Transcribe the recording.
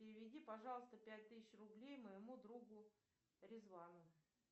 переведи пожалуйста пять тысяч рублей моему другу резвану